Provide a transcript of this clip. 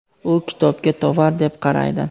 u kitobga tovar deb qaraydi.